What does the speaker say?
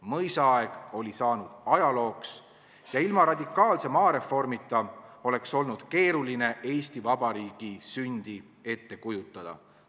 Mõisaaeg oli saanud ajalooks ja ilma radikaalse maareformita oleks olnud keeruline Eesti Vabariigi sündi ette kujutada.